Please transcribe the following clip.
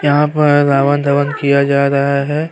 यहाँ पर रावण धवन दहन किया जा रहा है।